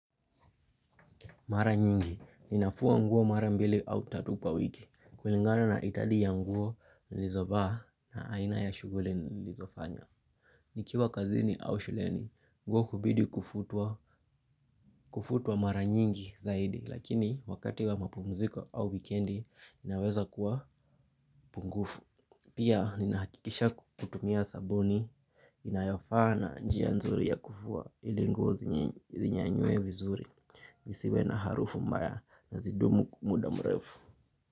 Mara nyingi, ninafua nguo mara mbili au tatu kwa wiki, kulingana na idadi ya nguo nilizovaa na aina ya shuguli nilizofanya. Nikiwa kazini au shuleni, nguo hubidi kufutwa mara nyingi zaidi, lakini wakati wa mapumziko au wikendi, ninaweza kuwa pungufu. Pia ninahakikisha kutumia sabuni inayofaa na njia nzuri ya kufua ili nguo zinyanyue vizuri isiwe na harufu mbaya na zidumu muda mrefu.